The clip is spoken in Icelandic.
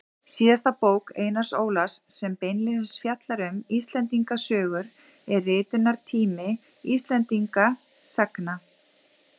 Síðasta bók Einars Ólafs sem beinlínis fjallar um Íslendingasögur er Ritunartími Íslendingasagna.